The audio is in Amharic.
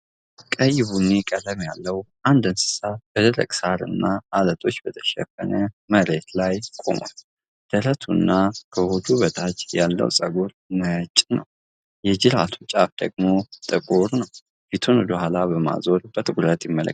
ቀይ-ቡኒ ቀለም ያለው አንድ እንስሳ በደረቅ ሳርና አለቶች በተሸፈነ መሬት ላይ ቆሟል፡። ደረቱና ከሆዱ በታች ያለው ፀጉር ነጭ ነው፡፤ የጅራቱ ጫፍ ደግሞ ጥቁር ነው፡። ፊቱን ወደ ኋላ በማዞር በትኩረት ይመለከታል፡።